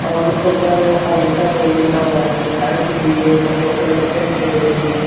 और ऊपर अजंता डेविल लिखा हुआ है लाइट दिख रही है सफ़ेद कलर का पेंट है देरी मे--